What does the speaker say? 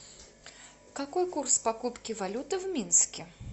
какой курс покупки валюты в минске